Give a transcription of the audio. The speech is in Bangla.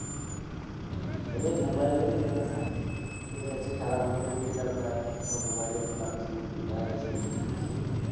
তবে মোবাইল দেখে জেনারেশন চলে যাচ্ছে খেলাধুলা তো উঠে গেল প্রায় সব মোবাইল এই পাবজি ফ্রি ফায়ার এসব গেম খেলছে